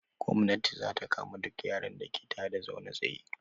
Gomnati za ta kama duk yaron da ke ta da zaune tsaye.